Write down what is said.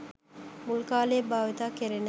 මුල් කාලයේ භාවිත කෙරිණ.